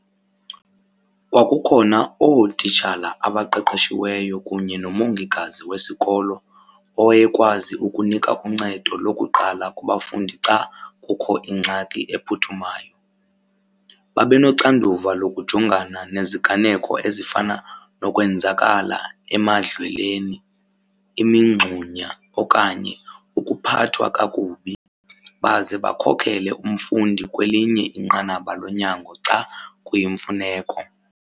Kwakukhona ootitshala abaqeqeshiweyo kunye nomongikazi wesikolo owayekwazi ukunika uncedo lokuqala kubafundi xa kukho ingxaki ephuthumayo. Babenoxanduva lokujongana neziganeko ezifana nokwenzakala emadlelweni, imingxunya okanye ukuphathwa kakubi. Baze bakhokele umfundi kwelinye inqanaba lonyango xa kuyimfuneko.